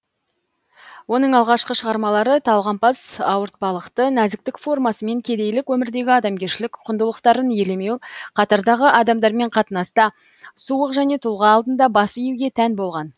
оның алғашқы шығармалары талғампаз ауыртпалықты нәзіктік формасы мен кедейлік өмірдегі адамгершілік құндылықтарын елемеу қатардағы адамдармен қатынаста суық және тұлға алдында бас июге тән болған